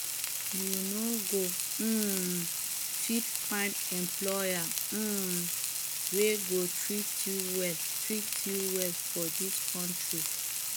you no go um fit find employer um wey go treat you well treat you well for dis country